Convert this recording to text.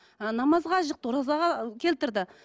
ы намазға жықты оразаға келтірді